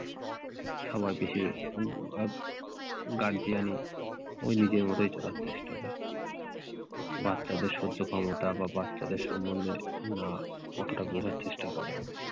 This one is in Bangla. সবার বেশির ভাগ guardian ই ওই নিজের মতোই চলার চেষ্টা করে। বাচ্চাদের সহ্য ক্ষমতা কিংবা বাচ্চাদের সমন্ধে না অতটা বোঝার চেষ্টা করে।